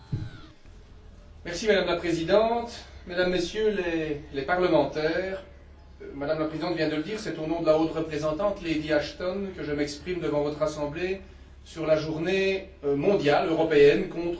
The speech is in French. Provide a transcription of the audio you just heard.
Madame la Présidente, Mesdames, Messieurs les parlementaires, Madame la Présidente vient de le dire, c'est au nom de la haute représentante, Lady Ashton, que je m'exprime devant votre Assemblée sur la Journée mondiale, européenne contre la peine de mort.